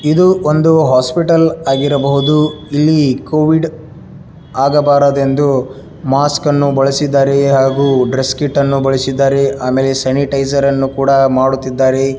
ಇದು ಒಂದು ಹಾಸ್ಪಿಟಲ್ ಆಗಿರಬಹುದು ಇಲ್ಲಿ ಕೋವಿಡ್ ಆಗಬಾರದು ಎಂದು ಮಾಸ್ಕ ನ್ನು ಬಳಸಿದರೆ ಹಾಗೂ ಡ್ರೆಸ್ ಕೀಟ ನ್ನು ಬಳಸಿದ್ದಾರೆ ಆಮೇಲೆ ಸ್ಯಾನಿಟೈಸರ್ ಅನ್ನು ಕೂಡ ಮಾಡುತ್ತಿದ್ದಾರೆ.